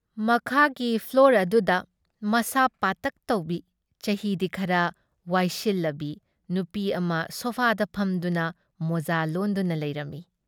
ꯃꯈꯥꯒꯤ ꯐ꯭ꯂꯣꯔ ꯑꯗꯨꯗ ꯃꯁꯥ ꯄꯥꯇꯛ ꯇꯧꯕꯤ, ꯆꯍꯤꯗꯤ ꯈꯔ ꯋꯥꯏꯁꯤꯜꯂꯕꯤ ꯅꯨꯄꯤ ꯑꯃ ꯁꯣꯐꯥꯗ ꯐꯝꯗꯨꯅ ꯃꯣꯖꯥ ꯂꯣꯟꯗꯨꯅ ꯂꯩꯔꯝꯃꯤ ꯫